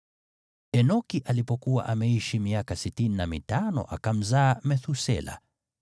Enoki alipokuwa ameishi miaka sitini na mitano, akamzaa Methusela.